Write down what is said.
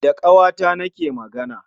Da ƙawata na ke magana